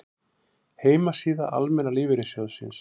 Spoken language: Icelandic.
Heimasíða Almenna lífeyrissjóðsins